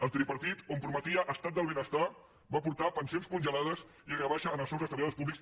el tripartit on prometia estat del benestar va portar pensions congelades i rebaixa en els sous dels treballadors públics